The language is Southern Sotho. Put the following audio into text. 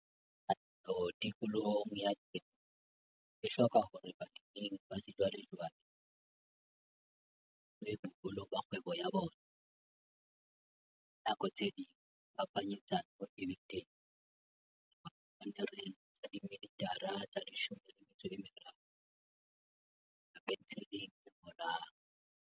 Katleho tikolohong ya temo e hloka hore baleming ba sejwalejwale, ho sa tsotellwe boholo ba kgwebo ya bona, ka nako tse ding phapanyetsano e be teng ho tloha sepannereng sa 13 mm ho isa pentsheleng e ngolang.